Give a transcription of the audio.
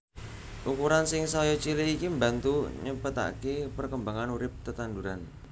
Ukuran sing saya cilik iki mbantu nyepetaké perkembangan urip tetanduran